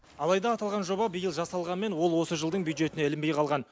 алайда аталған жоба биыл жасалғанмен ол осы жылдың бюджетіне ілінбей қалған